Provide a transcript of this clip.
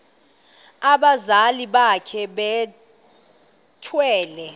abazali bakhe bethwele